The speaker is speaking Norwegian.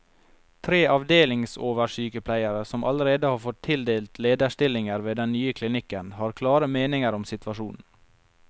Tre avdelingsoversykepleiere, som allerede har fått tildelt lederstillinger ved den nye klinikken, har klare meninger om situasjonen.